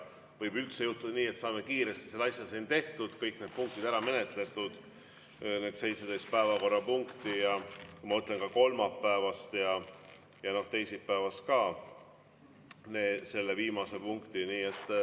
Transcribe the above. Võib üldse juhtuda nii, et saame kiiresti selle asja siin tehtud, kõik punktid ära menetletud, need 17 päevakorrapunkti, ma mõtlen ka kolmapäevast ja teisipäevast, ka selle viimase punkti.